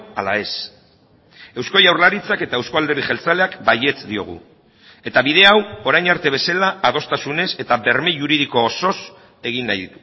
ala ez eusko jaurlaritzak eta euzko alderdi jeltzaleak baietz diogu eta bide hau orain arte bezala adostasunez eta berme juridiko osoz egin nahi